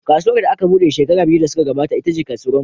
Kasuwar da aka buɗe shekaru biyu da suka gabata ita ce Kasuwar Wambai.